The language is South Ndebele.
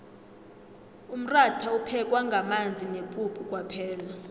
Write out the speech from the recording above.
umratha uphekwa ngamanzi nepuphu kwaphela